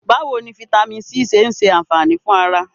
Báwo ni fítámìnì C ṣe ṣe ànfàní fún ara?